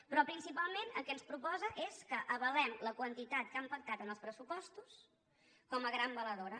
però principalment el que ens proposa és que avalem la quantitat que han pactat en els pressupostos com a gran valedora